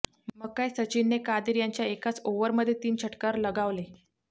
मग काय सचिनने कादिर यांच्या एकाच ओव्हरमध्ये तीन षटकार लगावले